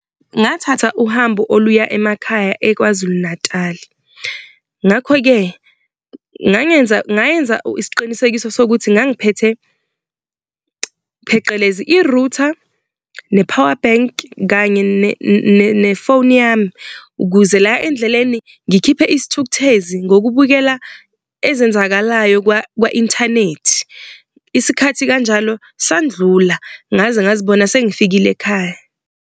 Ngathatha uhambo oluya emakhaya eKwaZulu Natal, ngakho-ke ngangenza ngayenza isiqinisekiso sokuthi ngangiphethe phecelezi i-router, ne-power bank kanye nefoni yami, ukuze la endleleni ngikhiphe isithukuthezi, ngokubukela ezenzakalayo kwa-inthanethi. Isikhathi kanjalo sandlula ngaze ngazibona sengifikile ekhaya.